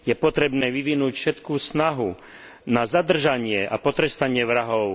Je potrebné vyvinúť všetku snahu na zadržanie a potrestanie vrahov.